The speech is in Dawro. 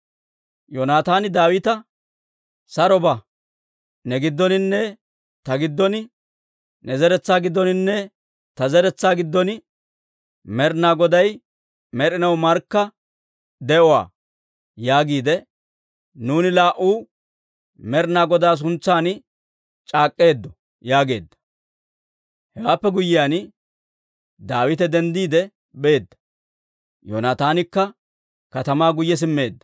Yoonataani Daawita, «Saro ba; ‹Ne giddoninne ta giddon, ne zeretsaa giddoninne ta zeretsaa giddon, Med'inaa Goday med'inaw markka gido› yaagiide nuuni laa"uu Med'inaa Godaa suntsaan c'aak'k'eeddo» yaageedda. Hewaappe guyyiyaan, Daawite denddiide beedda; Yoonataanikka katamaa guyye simmeedda.